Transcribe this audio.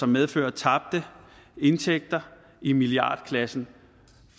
medfører tabte indtægter i milliardklassen